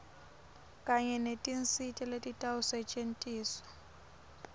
kanye netinsita letitawusetjentiswa